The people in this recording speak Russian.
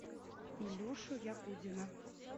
илюшу ягудина